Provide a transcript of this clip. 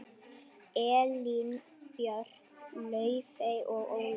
Elín Björk, Laufey og Ólöf.